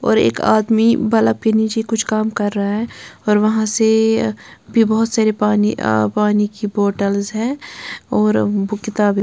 और एक आदमी बल्ब के नीचे कुछ काम कर रहा है और वहां से भी बहुत सारे पानी अ पानी की बोतल्स हैं और बुक किताब--